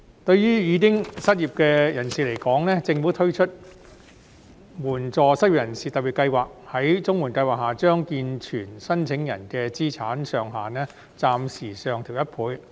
對於已經失業的人士而言，政府推出援助失業人士特別計劃，將綜合社會保障援助計劃下健全申請人的資產上限暫時上調1倍。